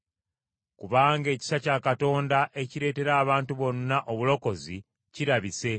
Kubanga ekisa kya Katonda ekireetera abantu bonna obulokozi kirabise,